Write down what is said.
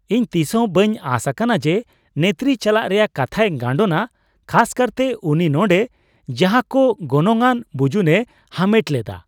ᱤᱧ ᱛᱤᱥᱦᱚᱸ ᱵᱟᱹᱧ ᱟᱸᱥ ᱟᱠᱟᱱᱟ ᱡᱮ ᱱᱮᱛᱨᱤ ᱪᱟᱞᱟᱜ ᱨᱮᱭᱟᱜ ᱠᱟᱛᱷᱟᱭ ᱜᱟᱱᱰᱳᱱᱟ, ᱠᱷᱟᱥ ᱠᱟᱨᱛᱮ ᱩᱱᱤ ᱱᱚᱸᱰᱮ ᱡᱟᱦᱟᱸ ᱠᱚ ᱜᱚᱱᱚᱝᱟᱱ ᱵᱩᱡᱩᱱᱮ ᱦᱟᱢᱮᱴ ᱞᱮᱫᱟ ᱾